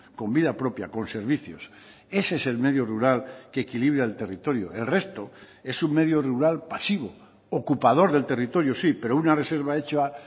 con vida propia con servicios ese es el medio rural que equilibra el territorio el resto es un medio rural pasivo ocupador del territorio sí pero una reserva hecha